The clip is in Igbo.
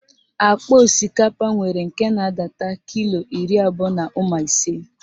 Akpa osikapa nwere nke na-adata kilo iri abụọ na ụma ise.